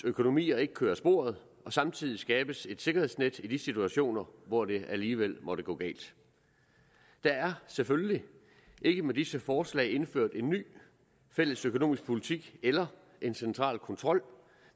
økonomier ikke kører af sporet samtidig skabes et sikkerhedsnet i de situationer hvor det alligevel måtte gå galt der er selvfølgelig ikke med disse forslag indført en ny fælles økonomisk politik eller en central kontrol